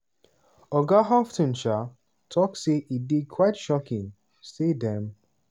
oga houghton um tok say e dey "quite shocking" say dem